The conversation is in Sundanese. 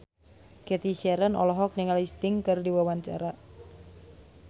Cathy Sharon olohok ningali Sting keur diwawancara